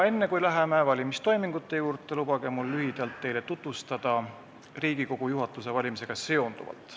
Enne, kui me läheme valimistoimingute juurde, lubage mul lühidalt teile tutvustada Riigikogu juhatuse valimisega seonduvat.